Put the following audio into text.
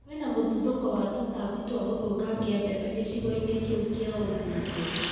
Kwĩna mũtuthũko wa tũtambi twa gũthũkangia mbembe gĩcigo-inĩ kĩu kĩa ũmbunge